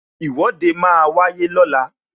Ìwọ́de máa wáyé lọ́la